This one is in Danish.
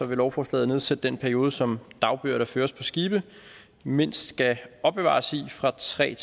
vil lovforslaget nedsætte den periode som dagbøger der føres på skibe mindst skal opbevare i fra tre